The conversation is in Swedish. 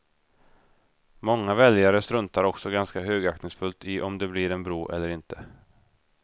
Många väljare struntar också ganska högaktningsfullt i om det blir en bro eller inte.